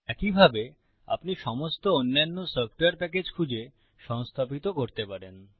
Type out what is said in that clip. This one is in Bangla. একইভাবে আপনি সমস্ত অন্যান্য সফ্টওয়্যার প্যাকেজ খুঁজে সংস্থাপিত করতে পারেন